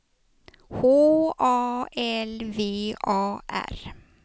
H A L V A R